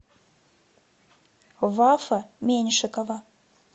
вафа меньшикова